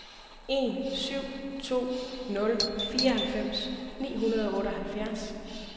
en syv to nul fireoghalvfems ni hundrede og otteoghalvfjerds